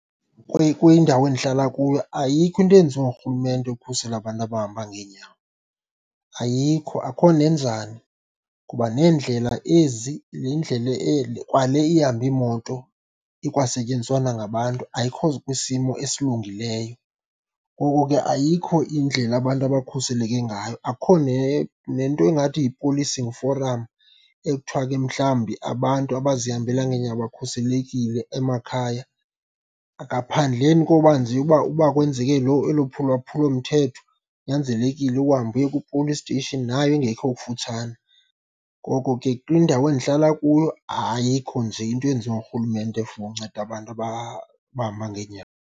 Kwindawo endihlala kuyo ayikho into eyenziwa ngurhulumente ukukhusela abantu abahamba ngeenyawo. Ayikho, akho nenjani, kuba neendlela ezi, le ndlela kwale ihamba iimoto ikwasetyenziswa nangabantu ayikho kwisimo esilungileyo, ngoko ke ayikho indlela abantu abakhuseleke ngayo. Akukho nento engathi yi-policing forum ekuthiwa ke mhlawumbi abantu abazihambela ngeenyawo bakhuselekile emakhaya, ngaphandleni koba nje uba, uba kwenzeke loo elo lwaphulomthetho kunyanzelekile uhambe uye kwi-police station nayo engekho kufutshane. Ngoko ke kwindawo endihlala kuyo ayikho nje into eyenziwa ngurhulumente for unceda abantu abahamba ngenyawo.